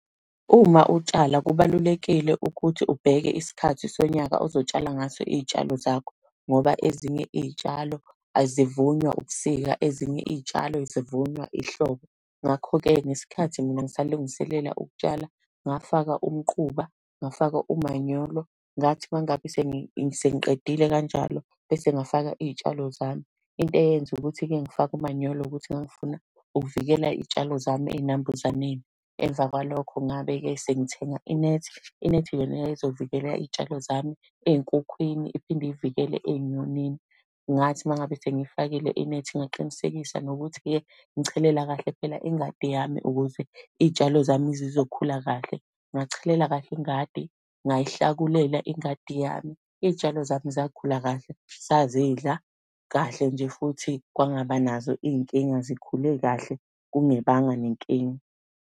Uma utshala, kubalulekile ukuthi ubheke isikhathi sonyaka ozotshala ngaso iy'tshalo zakho. Ngoba ezinye iy'tshalo, azivunywa ubukusika, ezinye iy'tshalo zivunywa ihlobo. Ngakho-ke, ngesikhathi mina ngisalungiselela ukutshala, ngafaka umquba, ngafaka umanyolo, ngathi uma ngabe sengiqedile kanjalo, bese ngafaka iy'tshalo zami. Into eyenza ukuthi-ke ngifake umanyolo ukuthi ngangifuna ukuvikela iy'tshalo zami ey'nambuzaneni. Emva kwalokho ngabe-ke sengithenga inethi, inethi yona yayizovikela iy'tshalo zami ey'nkukhwini, iphinde iy'vikele ey'nyonini. Ngathi uma ngabe sengiyifakile inethi, ngaqinisekisa nokuthi-ke ngichelela kahle phela ingadi yami, ukuze iy'tshalo zami zizokhula kahle. Ngachelela kahle ingadi, ngayihlakulela ingadi yami. Iy'tshalo zami zakhula kahle, sazidla kahle nje futhi kwangaba nazo iy'nkinga, zikhule kahle kungebanga nenkinga.